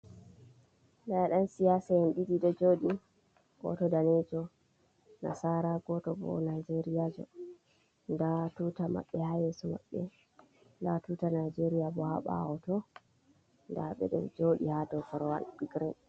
Ɗa yan siyasaen ɗisi ɗo joɗi. Goto ɗanejo nasara goto bo nijeria jo. Ɗa tuta mabbe ha yesu mabbe ɗa tuta nijeria bo ha bawo to. Dabeɗo jodi ha ɗow korowal girin.